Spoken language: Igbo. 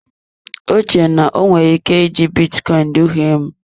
Ọ chere na o nwere ike iji bitcoin duhie m.